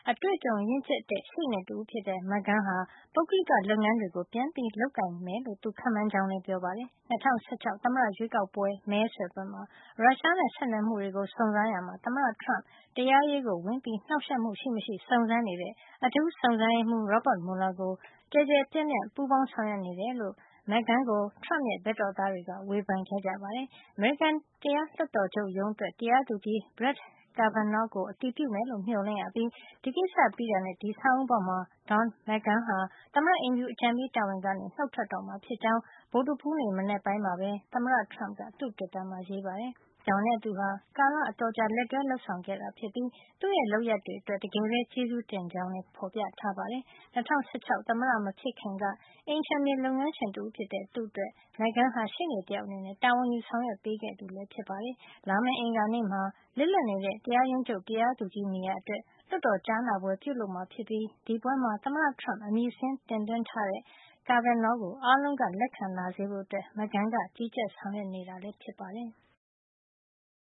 အတွေ့အကြုံရင့်ကျက်တဲ့ ရှေ့နေတဦးဖြစ်တဲ့ McGahn ဟာ ပုဂ္ဂလိကလုပ်ငန်းတွေကို ပြန်လုပ်ကိုင်မယ်လို့ သူခန့်မှန်းကြောင်း အမေရိကန်သမ္မတ Donald Trump က သတင်းထောက်တွေကို ပြောပါတယ်။ ၂၀၁၆ သမ္မတရွေးကောက်ပွဲ မဲဆွယ်ပွဲမှာ ရုရှားနဲ့ ဆက်နွယ်မှုတွေကို စုံစမ်းရာမှာ သမ္မတ Trump တရားရေးကို ဝင်ရောက်နှောက်ယှက်မှု ရှိမရှိ စုံစမ်းနေတဲ့ အထူးစုံစမ်းရေးမှူး Robert Mueller နဲ့ ကျယ်ကျယ်ပြန့်ပြန့် ပူးပေါင်းဆောင်ရွက်နေတယ်လို့ McGahn ကို Trump ရဲ့ ဘက်တော်သားတွေက ဝေဖန်ကြပါတယ်။ အမေရိကန် တရားလွှတ်တော်ချုပ်ရုံးအတွက် တရားသူကြီး Brett Kavanaugh ကို အတည်ပြုမယ်လို့ မျှော်လင့်ရပြီး ဒီကိစ္စပြီးတာနဲ့ ဒီဆောင်းဦးပေါက်မှာ Don McGahn ဟာ သမ္မတအိမ်ဖြူ ဥပဒေရေးရာ အကြံပေးတာဝန်ကနေ နုတ်ထွက်တော့မှာဖြစ်ကြောင်း ဗုဒ္ဓဟူးနေ့ မနက်ပိုင်းမှာပဲ သမ္မတ Trump က သူ့ Twitter မှာ ရေးပါတယ်။ Don နဲ့ သူ ကာလအတော်ကြာ လက်တွဲ လုပ်ဆောင်ခဲ့တာဖြစ်ပြီး သူ့လုပ်ရပ်တွေအတွက် တကယ်ပဲ ကျေးဇူးတင်ကြောင်းလည်း ဖော်ပြထားပါတယ်။ ၂၀၁၆ မှာ သမ္မတမဖြစ်ခင်က အိမ်ခြံမြေလုပ်ငန်းရှင်တဦးဖြစ်တဲ့ သူ့အတွက် McGhan ဟာ ရှေ့နေတယောက်အနေနဲ့ တာဝန်ယူ ဆောင်ရွက်ပေးခဲ့သူ ဖြစ်ပါတယ်။ လစ်လပ်နေတဲ့ တရားရုံးချုပ် တရားသူကြီးနေရာအတွက် လာမယ့် အင်္ဂါနေ့မှာ လွှတ်တော်ကြားနာပွဲ ပြုလုပ်မှာဖြစ်ပြီး ဒီပွဲမှာ သမ္မတ Trump အမည်စာရင်း တင်သွင်းထားတဲ့ Brett Kavanaugh ကို အားလုံးက လက်ခံလာစေဖို့ McGhan က ကြီးကြပ် ဆောင်ရွက်နေတာ ဖြစ်ပါတယ်။